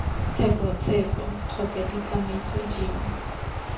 tsheko tsheko kgotsa ditsamaiso dingwe